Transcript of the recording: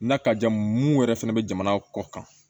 N'a ka jan mun yɛrɛ fɛnɛ bɛ jamana kɔ kan